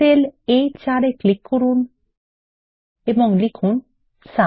sell A4 এ click করুন এবং লিখুন সুম